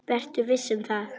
Vertu viss um það.